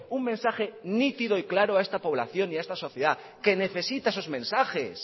un mensaje nítido y claro a esta población y a esta sociedad que necesita esos mensajes